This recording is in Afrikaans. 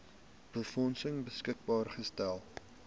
befondsing beskikbaar gestel